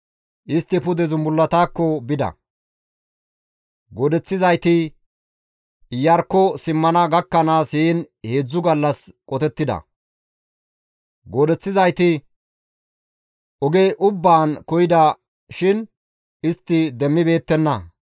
Istti pude zumbullatakko bida; goodeththizayti Iyarkko simmana gakkanaas heen heedzdzu gallas qotettida. Goodeththizayti oge ubbaan koyida shin istti demmibeettenna.